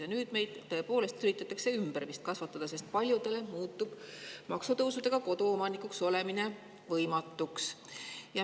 Ja nüüd meid tõepoolest üritatakse vist ümber kasvatada, sest paljudele muutub maksutõusude tõttu koduomanikuks olemine võimatuks.